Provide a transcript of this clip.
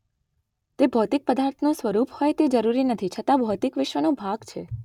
તે ભૌતિક પદાર્થનું સ્વરૂપ હોય તે જરૂરી નથી છતાં ભૌતિક વિશ્વનો ભાગ છે